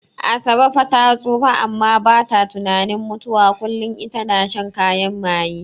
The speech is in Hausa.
Asabe far ta tsufa amma bata tunanin mutuwa, kullin ita na shan kayan maye.